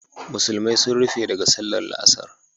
Musulmai sun rufe daga sallar la'asar